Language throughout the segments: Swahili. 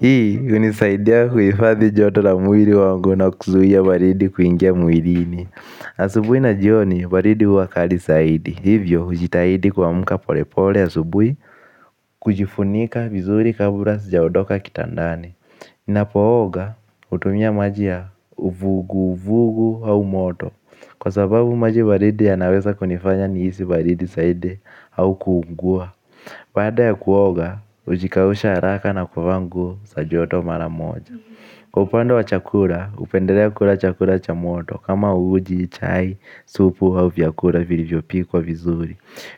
Hii, hunisaidia kuhifadhi joto la mwili wangu na kuzuia baridi kuingia mwilini. Asubuhi na jioni baridi huwa kali zaidi. Hivyo hujitahidi kuamuka polepole asubuhi. Kujifunika vizuri kabula sijaondoka kitandani. Ninapooga hutumia maji ya uvuguvugu au moto. Kwa sababu maji baridi yanaweza kunifanya nihisi baridi zaidi au kuungua baada ya kuoga hujikausha haraka na kuvaa nguo za joto mara moja. Kwa upande wa chakula hupendelea kula chakula cha moto. Kama uji, chai, supu au vyakula vilivyopikwa vizuri.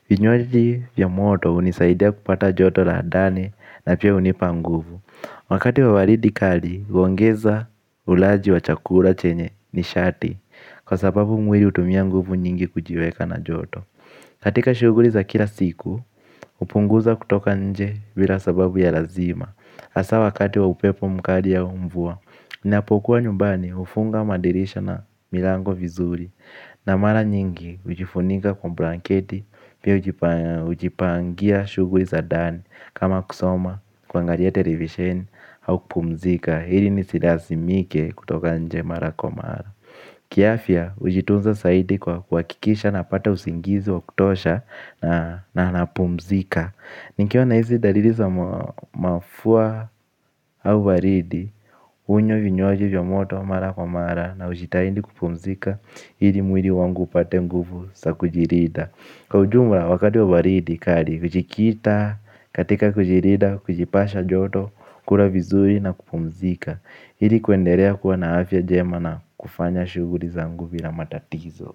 Vinywaji vya moto hunisaidia kupata joto la ndani na pia hunipa nguvu. Wakati wa baridi kali huongeza ulaji wa chakula chenye nishati kwa sababu mwili hutumia nguvu nyingi kujiweka na joto. Katika shuguli za kila siku hupunguza kutoka nje bila sababu ya lazima hasaa wakati wa upepo mkali au mvua. Niapokuwa nyumbani hufunga madirisha na milango vizuri. Na mara nyingi hujifunika kwa blanketi pia hujipangia shughuli za ndani kama kusoma kuangalia televisheni au kpumzika ili nisilazimike kutoka nje mara kwa mara. Kiafya hujitunza zaidi kwa kuhakikisha napata usingizi wa kutosha na napumzika. Nikiwa na hizi dalili za mafua au baridi, hunywa vinywaji vya moto mara kwa mara na hujitahindi kupumzika ili mwili wangu upate nguvu za kujilinda. Kwa ujumla, wakati wa baridi, kali hujikita, katika kujilinda, kujipasha joto, kula vizuri na kupumzika ili kuendelea kuwa na afya njema na kufanya shughuli zangu bila matatizo.